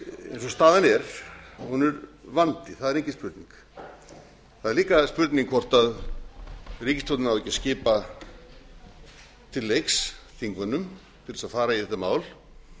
staðan er er hún vandi það er engin spurning það er líka spurning hvort ríkisstjórnin á ekki að skipa til leiks þingmönnum til að fara í þetta mál